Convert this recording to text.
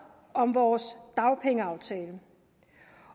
om vores dagpengeaftale